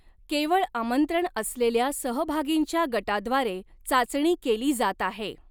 केवळ आमंत्रण असलेल्या सहभागींच्या गटाद्वारे चाचणी केली जात आहे.